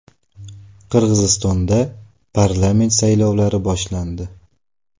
Qirg‘izistonda parlament saylovlari boshlandi.